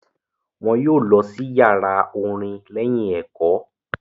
wọn yóò lọ sí yàrá orin lẹ́yìn ẹ̀kọ́.